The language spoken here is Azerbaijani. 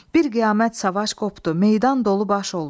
Bir qiyamət savaş qopdu, meydan dolu baş oldu.